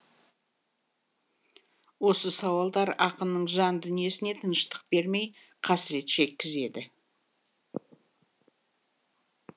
осы сауалдар ақынның жан дүниесіне тыныштық бермей қасірет шеккізеді